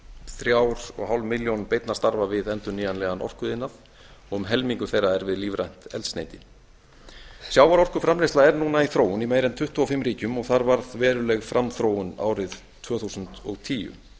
þrjú og hálfa milljón beinna starfa við endurnýjanlegan orkuiðnað og um helmingur þeirra er við lífrænt eldsneyti sjávarorkuframleiðsla er núna í þróun í meira en tuttugu og fimm ríkjum þar varð veruleg framþróun árið tvö þúsund og tíu